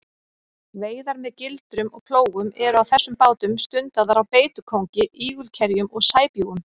Veiðar með gildrum og plógum eru á þessum bátum stundaðar á beitukóngi, ígulkerjum og sæbjúgum.